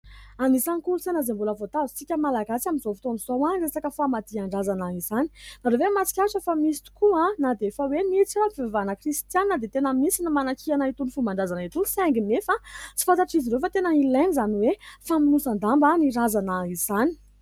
Anisan'ny kolontsaina izay mbola voatazontsika malagasy amin'izao fotoana izao ny resaka famadihan-drazana izany. Ianareo ve mahatsikaritra fa misy tokoa na dia efa hoe misy aza ny fivavahana kristianina dia tena misy ny manakihana itony fomban-drazana itony saingy anefa tsy fantatr'izy ireo fa tena ilaina izany hoe famonosan-damba ny razana izany.